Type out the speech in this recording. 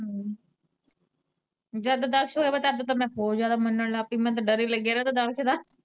ਜਦ ਦਕਸ਼ ਹੋਇਆ ਤਦ ਤਾਂ ਮੈਂ ਹੋਰ ਜਿਆਦਾ ਮੰਨਣ ਲੱਗ ਪਈ ਮਿਨੂੰ ਤੇ ਡਰ ਹੀ ਲੱਗਿਆ ਰਹਿੰਦਾ ਦਕਸ਼ ਦਾ।